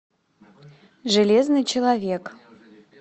железный человек